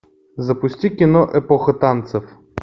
запусти кино эпоха танцев